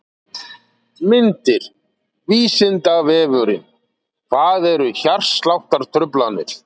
Myndir: Vísindavefurinn: Hvað eru hjartsláttartruflanir?.